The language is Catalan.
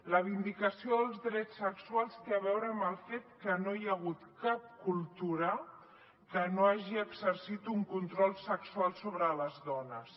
la vindicació dels drets sexuals té a veure amb el fet que no hi ha hagut cap cultura que no hagi exercit un control sexual sobre les dones